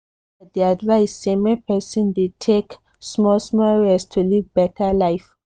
experts dey advise say make person dey take small-small rest to live better life.